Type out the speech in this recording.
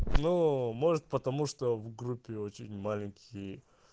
ну может потому что в группе очень маленькие